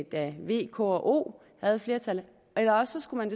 da v k og o havde flertallet ellers skulle